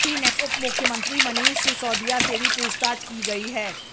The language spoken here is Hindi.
यही नहीं उपमुख्यमंत्री मनीष सिसोदिया से भी पूछताछ की गई है